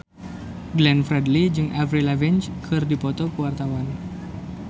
Glenn Fredly jeung Avril Lavigne keur dipoto ku wartawan